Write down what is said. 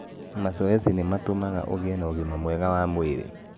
Mazoezi nĩ mateithagĩa gũkorwo na ũgĩma mwega wa mwĩri